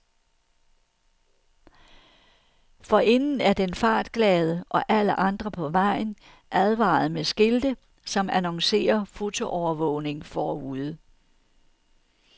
Forinden er den fartglade, og alle andre på vejen, advaret med skilte, som annoncerer fotoovervågning forude.